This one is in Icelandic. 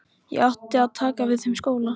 Ég átti að taka við þeim skóla.